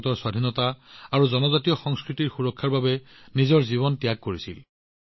তেওঁ ভাৰতৰ স্বাধীনতা আৰু জনজাতীয় সংস্কৃতিৰ সুৰক্ষাৰ বাবে নিজৰ জীৱন ত্যাগ কৰিছিল